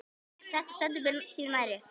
Þetta stendur mér því nærri.